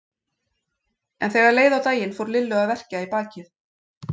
En þegar leið á daginn fór Lillu að verkja í bakið.